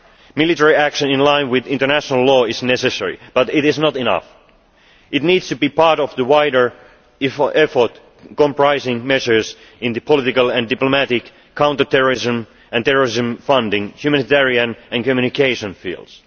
alarming. Military action in line with international law is necessary, but it is not enough. It needs to be part of the wider effort, comprising measures in the political and diplomatic, counter terrorism and terrorism funding, humanitarian and communication